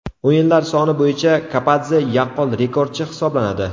O‘yinlar soni bo‘yicha Kapadze yaqqol rekordchi hisoblanadi.